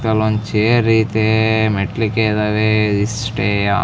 ಪಕ್ಕದಲ್ಲಿ ಒಂದ್ ಚೈರ್ ಐತೆ ಮೆಟ್ಟಲಕೆ ಇದಾವೆ ಇಷ್ಟೆಯಾ.